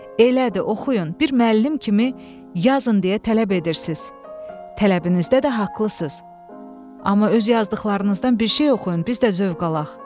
Elədir, oxuyun, bir müəllim kimi yazın deyə tələb edirsiz, tələbinizdə də haqlısınız, amma öz yazdıqlarınızdan bir şey oxuyun, biz də zövq alaq.